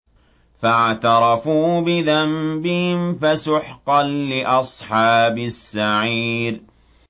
فَاعْتَرَفُوا بِذَنبِهِمْ فَسُحْقًا لِّأَصْحَابِ السَّعِيرِ